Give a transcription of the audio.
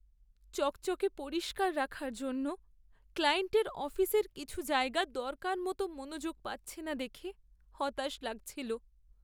চকচকে পরিষ্কার রাখার জন্য ক্লায়েন্টের অফিসের কিছু জায়গা দরকারমতো মনোযোগ পাচ্ছে না দেখে হতাশ লাগছিল।